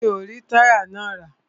Mi o rí táyà náà rà.